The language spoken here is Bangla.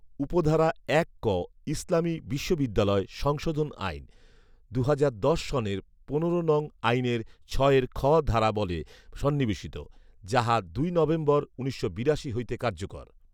উপধারা এক ক ইসলামী বিশ্ববিদ্যালয় সংশোধন আইন; দুহাজার দশ সনের পনেরো নং আইনের ছয়ের খ ধারা বলে সন্নিবেশিত, যাহা দুই নভেম্বর, উনিশশো বিরাশি হইতে কার্যকর